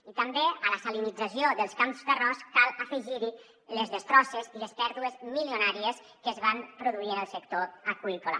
i també a la salinització dels camps d’arròs cal afegir hi les destrosses i les pèrdues milionàries que es van produir en el sector aqüícola